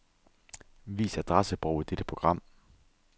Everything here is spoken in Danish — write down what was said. Vis adressebog i dette program.